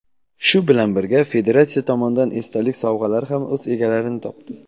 shu bilan birga federatsiya tomonidan esdalik sovg‘alari ham o‘z egalarini topdi.